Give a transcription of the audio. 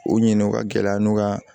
U ɲinɛn o ka gɛlɛn n'u ka